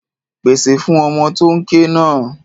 Pasẹ̀ fún ọmọ tó ń ké náà.